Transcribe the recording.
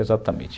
Exatamente.